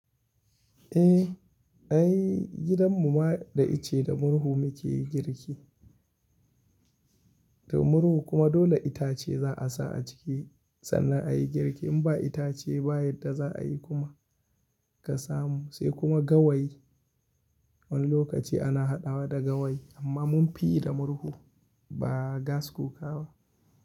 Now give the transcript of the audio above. Eh, ai gidan mu ma dai icce da murhu muke yi girki. Da murhu kuma dole itace za a sa a ciki sannan a yi girki. In ba itace ba yadda za a yi kuma ka samu. Sai kuma gawayi, wani lokaci ana haɗawa da gawayi amma mun fi yi da murhu ba gas cooka ba.